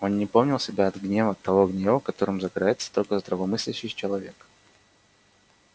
он не помнил себя от гнева того гнева которым загорается только здравомыслящий человек